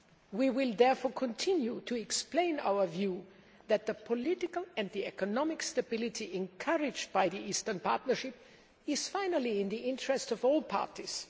We will therefore continue to explain our view that the political and economic stability encouraged by the Eastern Partnership is, finally, in the interests of all parties.